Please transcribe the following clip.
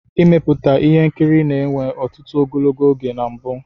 Ịmeputa ihe nkiri na-enwe ọtụtụ ogologo oge na mbu.